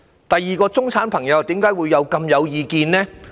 第二，為甚麼中產朋友亦很有意見呢？